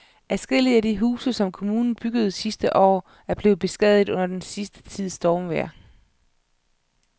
Adskillige af de huse, som kommunen byggede sidste år, er blevet beskadiget under den sidste tids stormvejr.